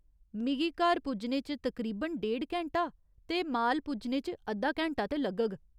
मिगी घर पुज्जने च तकरीबन डेढ़ घैंटा ते माल पुज्जने च अद्धा घैंटा ते लग्गग।